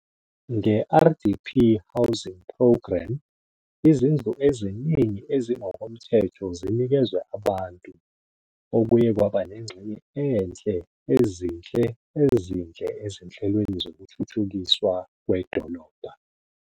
Nge-RDP Housing Programme, izindlu eziningi ezingokomthetho zinikezwe abantu, okuye kwaba nengxenye enhle ezinhle ezinhle ezinhlelweni zokuthuthukiswa kwedolobha.